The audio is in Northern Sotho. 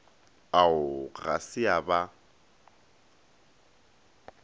ao ga se a ba